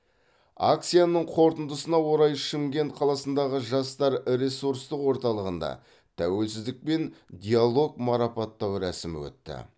акцияның қорытындысына орай шымкент қаласындағы жастар ресурстық орталығында тәуелсіздікпен диалог марапаттау рәсімі өтті